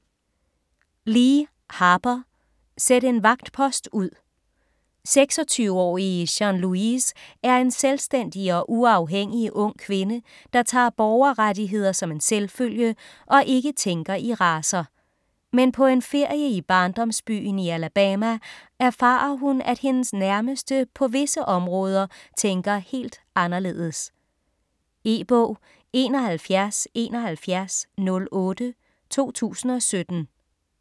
Lee, Harper: Sæt en vagtpost ud 26-årige Jean Louise er en selvstændig og uafhængig ung kvinde, der tager borgerrettigheder som en selvfølge og ikke tænker i racer. Men på en ferie i barndomsbyen i Alabama erfarer hun, at hendes nærmeste på visse områder tænker helt anderledes. E-bog 717108 2017.